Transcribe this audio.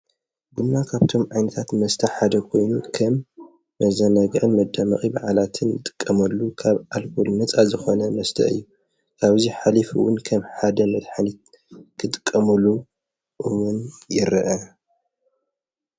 ብና ካብቶም ዓይንታት መስታሕ ሓደ ኾይኑን ከም መዘነግዐ መዳምቒ በዓላትን እጥቀመሉ ካብ ዓልቦል ነፃ ዝኾነ መስተ እዩ ካብዙይ ኃሊፉውን ከም ሓደ መትሐኒት ክጥቀሙሉ እሙን የርአ።